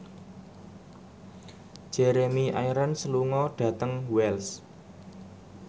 Jeremy Irons lunga dhateng Wells